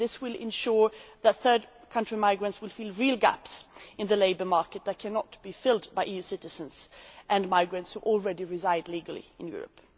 This will ensure that third country migrants fill real gaps in the labour market that cannot be filled by EU citizens and migrants who already reside legally in Europe.